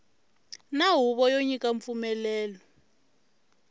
na huvo yo nyika mpfumelelo